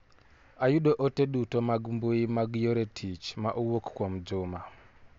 Ayudo ote duto mag mbui mag yore tich ma owuok kuomJuma